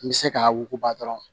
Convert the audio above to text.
N bɛ se k'a wuguba dɔrɔn